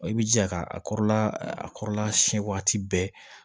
I b'i jija k'a kɔrɔla a kɔrɔla siɲɛ waati bɛɛ